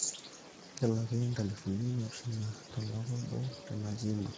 kelaki nkalifuni naapishana tolpa obo tena gym ang